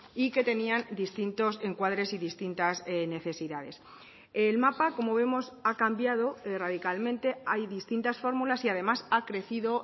y que tenían distintos encuadres y distintas necesidades el mapa como vemos ha cambiado radicalmente hay distintas fórmulas y además ha crecido